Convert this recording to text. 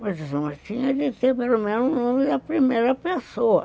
Mas uma tinha de ter pelo menos o nome da primeira pessoa.